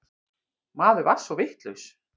Maður var svo vitlaus.